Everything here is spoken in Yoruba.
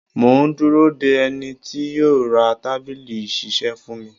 Mò ń dúró de ẹni tí yó ra tábìlì ìṣisẹ́ fún mi.